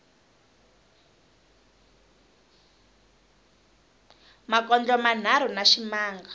makondlo manharhu na ximanga